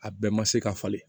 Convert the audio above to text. A bɛɛ ma se ka falen